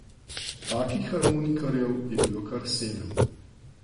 Takih harmonikarjev je bilo kar sedem.